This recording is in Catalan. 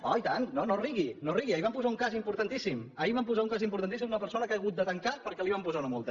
oh i tant no rigui no rigui ahir en van posar un cas importantíssim ahir van posar un cas importantíssim d’una persona que ha hagut de tancar perquè li van posar una multa